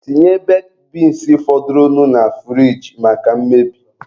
Tinye bekid beans fọdụrụnụ na furige maka mmebi.